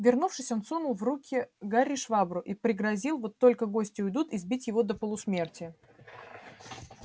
вернувшись он сунул в руки гарри швабру и пригрозил вот только гости уйдут избить его до полусмерти